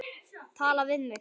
Tala við mig?